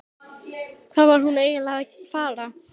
Hvað var hún eiginlega að fara?